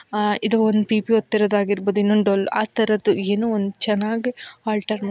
ಇದು ಒಂದು ಪಿಪಿ ಓದ್ತಿರೋದು ಆಗಿರಬಹುದು ಇನ್ನೊಂದ್ ಡೋಲ್ ಅತರದ್ದು ಏನೋ ಒಂದ್ ಚೆನ್ನಾಗ್ ಅಲ್ಟಾರ್ ಮಾ--